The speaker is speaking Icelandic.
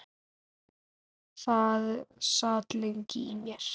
Það sat lengi í mér.